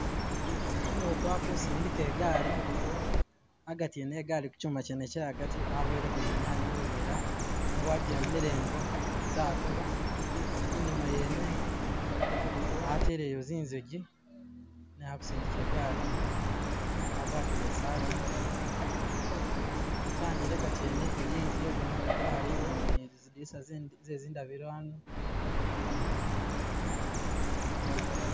Umutu ali kusindika igaali agati ene egaali kuchuma chene che agati aboyeleko zinyanye mu buvera waji emele engo zatoba inyuma yene ateleyo zinzagi ne ali kusindika igaali agwatile isaati kyanjeleka jene iliyo inzu iye gamatofali ne zidinisa zezindabilo ano.